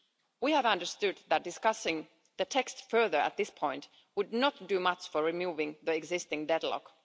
We have understood that discussing the text further at this point would not do much to remove the existing deadlock.